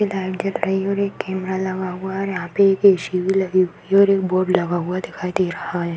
एक लाइट जल रही है और एक कैमरा लगा हुआ है और यहा पे एक ए० सी० भी लगी हुई है और एक बोर्ड लगा हुआ दिखाई दे रहा है।